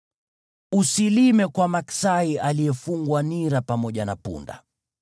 Usilime kwa maksai aliyefungwa nira pamoja na punda.